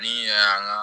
Ni yɛrɛ y'an ka